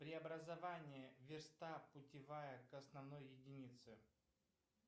преобразование верста путевая к основной единице